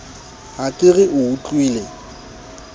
ha ke re o utlwile